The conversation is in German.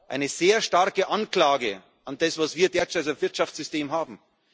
tötet. Eine sehr starke Anklage an das, was wir derzeit als Wirtschaftssystem